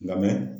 Lamɛn